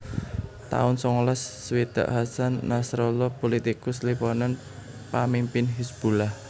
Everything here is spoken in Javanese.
taun songolas swidak Hasan Nasrallah pulitikus Libanon pamimpin Hizbullah